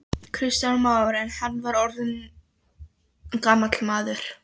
Kristján Már: En hann var þá orðinn gamall maður?